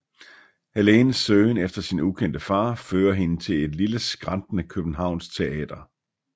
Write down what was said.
Helenes søgen efter sin ukendte far fører hende til et lille skrantende københavnsk teater